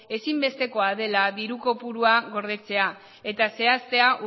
ezinbestekoa dela diru kopurua gordetzea eta zehaztea